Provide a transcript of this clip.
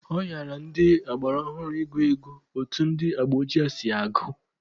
Ọ hịara ndị agba ọhụrụ ị gụ ego otu ndị agba ochie si agụ.